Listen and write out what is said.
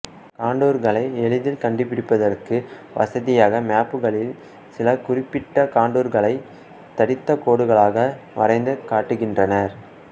கான்டூர்களை எளிதில் கண்டுபிடிப்பதற்கு வசதியாக மேப்புகளில் சில குறிப்பிட்ட கான்டூர்களைத் தடித்த கோடுகளாக வரைந்து காட்டுகின்றனர்